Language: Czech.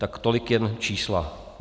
Tak tolik jen čísla.